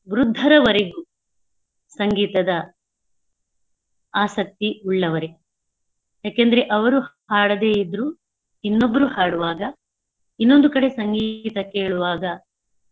ವೃದ್ಧರವರೆಗೂ ಸಂಗೀತದ ಆಸಕ್ತಿ ಉಳ್ಳವರೇ. ಯಾಕಂದ್ರೆ ಅವ್ರು ಹಾಡದೆ ಇದ್ರು ಇನ್ನೊಬ್ರು ಹಾಡುವಾಗ ಇನ್ನೊಂದು ಕಡೆ ಸಂಗೀತ ಕೇಳುವಾಗ.